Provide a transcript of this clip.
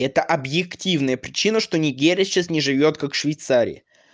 это объективная причина что негерия сейчас не живёт как швейцария